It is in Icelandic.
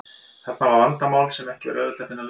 Þarna var vandamál sem ekki var auðvelt að finna lausn á.